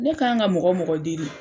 Ne k'an ka mɔgɔ mɔgɔ deli